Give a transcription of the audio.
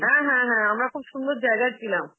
হ্যাঁ হ্যাঁ হ্যাঁ, আমরা খুব সুন্দর জায়গায় ছিলাম.